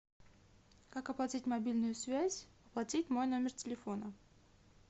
как оплатить мобильную связь оплатить мой номер телефона